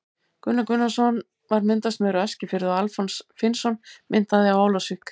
Gunnar Gunnarsson var myndasmiður á Eskifirði og Alfons Finnsson myndaði á Ólafsvík.